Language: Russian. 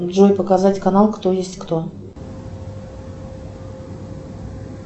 джой показать канал кто есть кто